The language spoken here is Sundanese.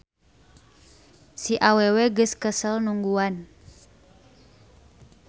Si awewe geus kesel nungguan.